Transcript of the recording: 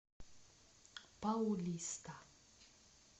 паулиста